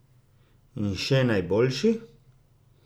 In še najboljši?